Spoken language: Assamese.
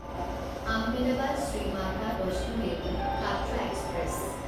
আহমেদাবাদ শ্ৰী মাতা বৈষ্ণো দেৱী কাট্ৰা এক্সপ্ৰেছ